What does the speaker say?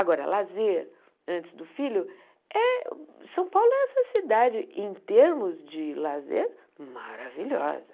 Agora, lazer antes do filho, eh São Paulo é essa cidade em termos de lazer, maravilhosa.